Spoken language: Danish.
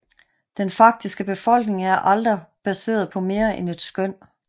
Den faktiske befolkning er aldrig baseret på mere end et skøn